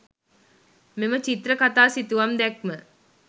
මෙම චිත්‍රකතා සිතුවම් දැක්ම